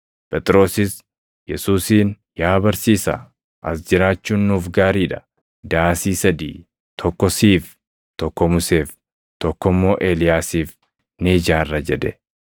Phexrosis Yesuusiin, “Yaa Barsiisaa, as jiraachuun nuuf gaarii dha; daasii sadii, tokko siif, tokko Museef, tokko immoo Eeliyaasiif ni ijaarra” jedhe.